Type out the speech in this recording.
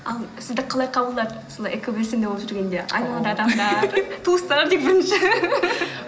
ал сізді қалай қабылдады солай экобелсенді болып жүргенде айналадағы адамдар туыстар дейік бірінші